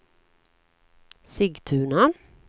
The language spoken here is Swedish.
Sigtuna